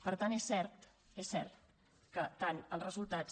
per tant és cert és cert que tant els resultats